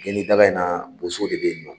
Geni daga in na daga in na Boso de bɛ yen nɔ.